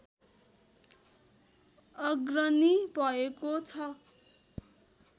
अग्रणी भएको छ